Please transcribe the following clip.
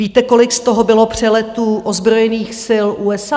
Víte, kolik z toho bylo přeletů ozbrojených sil USA?